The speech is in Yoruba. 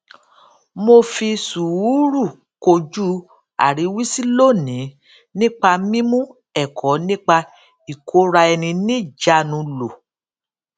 mo fi sùúrù kojú àríwísí lónìí nípa mímú èkó nípa ìkóraẹniníjàánu lò